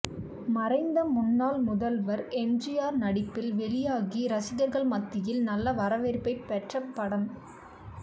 மறைந்த முன்னாள் முதல்வர் எம்ஜிஆர் நடிப்பில் வெளியாகி ரசிகர்கள் மத்தியில் நல்ல வரவேற்பை பெற்ற படம்